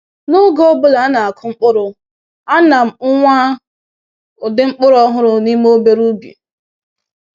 N’oge ọ bụla a na-akụ mkpụrụ, ana m nwaa ụdị mkpụrụ ọhụrụ n’ime obere ubi.